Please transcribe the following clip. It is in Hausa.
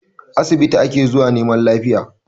Asibiti ake zuwa neman lafiya